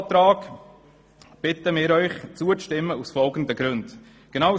Wir bitten Sie, dem Eventualantrag aus folgenden Gründen zuzustimmen: